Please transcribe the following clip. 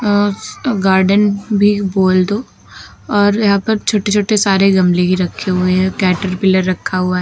अस अ गार्डन भी बोल दो और यहां पर छोटे-छोटे सारे गमले ही रखे हुए हैं। कैटरपिलर रखा हुआ --